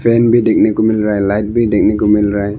Fan भी देखने को मिल रहा है लाइट भी देखने को मिल रहा है।